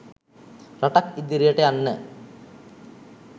රටක් ඉදිරියට යන්න